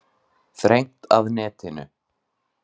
Þrengt að netinu